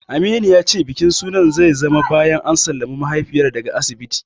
Aminu ya ce bikin sunan zai zama bayan an sallami mahaifiyar daga asibiti.